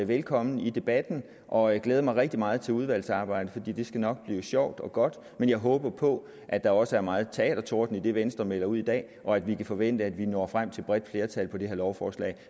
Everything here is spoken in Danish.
velkommen i debatten og jeg glæder mig rigtig meget til udvalgsarbejdet for det skal nok blive sjovt og godt men jeg håber på at der også er megen teatertorden i det venstre melder ud i dag og at vi kan forvente at vi når frem til et bredt flertal med det her lovforslag